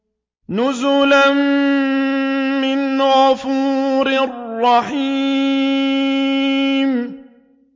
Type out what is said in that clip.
نُزُلًا مِّنْ غَفُورٍ رَّحِيمٍ